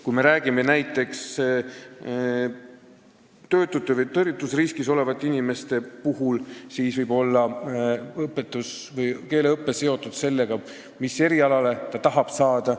Kui me räägime näiteks töötutest või tõrjutusriskis olevatest inimestest, siis võib keeleõpe olla seotud sellega, mis erialale tahab inimene saada.